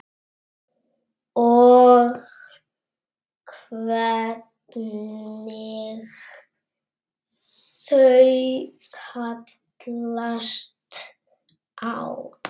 Og hvernig þau kallast á.